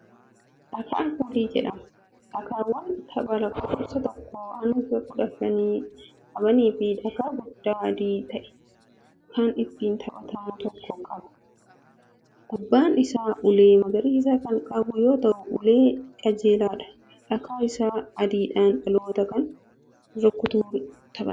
Dhakaa puulii jedhama. dhakaawwan taphaa lakkoofsa tokkoo hanga kudha shanii qabaniifi dhakaa guddaa adii ta'e Kan ittiin taphatamu tokko qaba. gubbaan Isaa halluu magariisa Kan qabu yoo ta'u ulee qajeelaadhaan dhakaa Isa adiidhaan dhaloota kaan rukutuun taphatama.